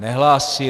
Nehlásí.